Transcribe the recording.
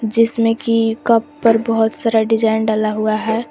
जिसमें की कप पर बहोत सारा डिजाइन डाला हुआ है।